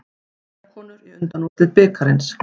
Eyjakonur í undanúrslit bikarsins